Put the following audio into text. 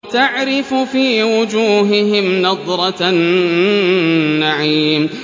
تَعْرِفُ فِي وُجُوهِهِمْ نَضْرَةَ النَّعِيمِ